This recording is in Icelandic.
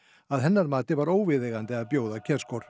að hennar mati var óviðeigandi að bjóða